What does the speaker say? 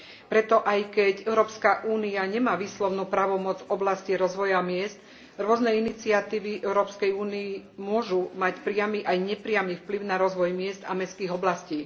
Preto aj keď Európska únia nemá výslovnú právomoc v oblasti rozvoja miest, rôzne iniciatívy Európskej únie môžu mať priamy aj nepriamy vplyv na rozvoj miest a mestských oblastí.